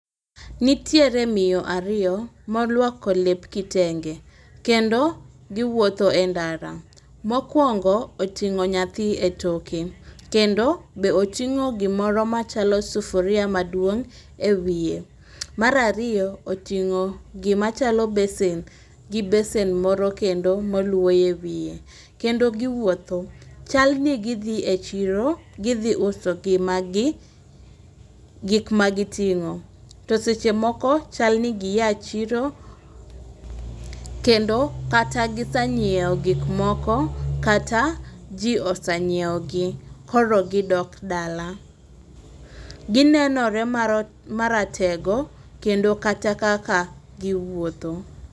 Nitiere miyo ariyo molwoko lep kitenge keno giwuotho e ndara .Mokwongo oting'o nyathi etoke kendo be oting'o gimoro machalo sufuria maduong' e wiye. Mar ariyo oting'o gima chalo bese gi besen moro kendo moluo ewiye kendo giwuotho. Chal ni gidhi e chiro gidhi uso gima gi gik ma giting'o .To seche moko chal ni giya chiro kendo kata gisanyiewo gik moko kata jii osanyiewo gi koro gidok dala. Ginenore maro maratego kendo kata kaka giwuotho.